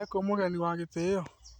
Ekũmũgeni wa gĩtĩo